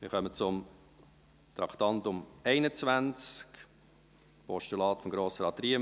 Wir kommen zum Traktandum 21, dem Postulat von Grossrat Riem: